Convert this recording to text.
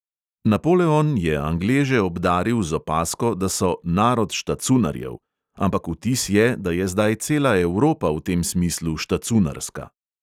Napoleon je angleže obdaril z opazko, da so "narod štacunarjev", ampak vtis je, da je zdaj cela evropa v tem smislu štacunarska.